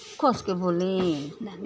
कस के बोलीं --